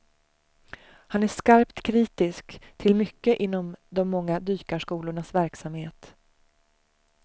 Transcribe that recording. Han är skarpt kritisk till mycket inom de många dykarskolornas verksamhet.